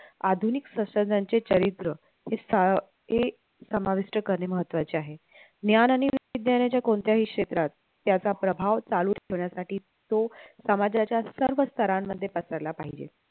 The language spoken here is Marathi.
आधुनिक शास्त्रज्ञांचे चरित्र हे सा हे समाविष्ट करणे महत्वाचे आहे ज्ञान आणि विज्ञानाच्या कोणत्याही क्षेत्रात त्याचा प्रभाव चालू ठेवण्यासाठी तो समाजाच्या सर्व स्थरांमध्ये पसरला पाहिजे